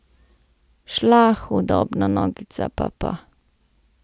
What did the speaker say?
Šla hudobna nogica papa.